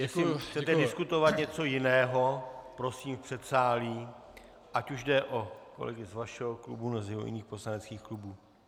Jestli chcete diskutovat něco jiného, prosím v předsálí, ať už jde o kolegy z vašeho klubu, nebo z jiných poslaneckých klubů.